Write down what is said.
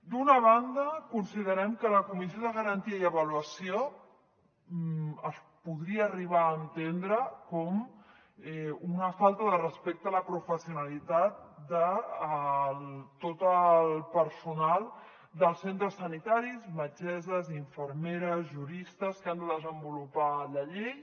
d’una banda considerem que la comissió de garantia i avaluació es podria arribar a entendre com una falta de respecte a la professionalitat de tot el personal dels centres sanitaris metgesses infermeres juristes que han de desenvolupar la llei